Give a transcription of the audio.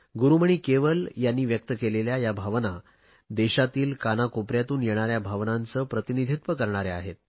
गुरुमणी केवल यांनी व्यक्त केलेल्या या भावना देशातील कानाकोपऱ्यांतून येणाऱ्या भावनांचे प्रतिनिधित्व करणाऱ्या आहेत